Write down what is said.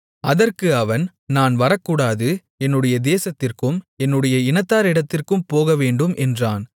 அதற்கு அவன் நான் வரக்கூடாது என்னுடைய தேசத்திற்கும் என்னுடைய இனத்தாரிடத்திற்கும் போகவேண்டும் என்றான்